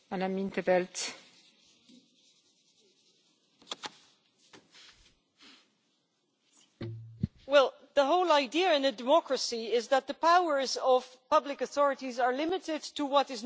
Well, the whole idea in a democracy is that the powers of public authorities are limited to what is necessary and proportionate, and that also applies to things like privacy, for example, or other fundamental rights.